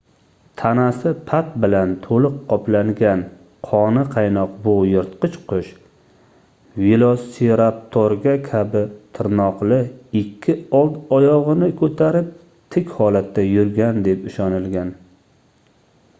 tanasi pat bilan toʻliq qoplangan qoni qaynoq bu yirtqich qush velosiraptorga kabi tirnoqli ikki old oyogʻini koʻtarib tik holatda yurgan deb ishonilgan